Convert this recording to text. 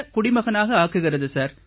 குடிமகனாக ஆக்குகிறது சார்